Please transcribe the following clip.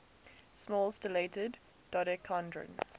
small stellated dodecahedron